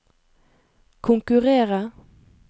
konkurrere